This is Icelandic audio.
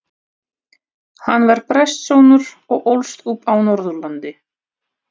Hann var prestssonur og ólst upp á Norðurlandi.